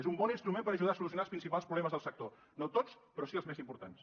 és un bon instrument per ajudar a solucionar els principals problemes del sector no tots però sí els més importants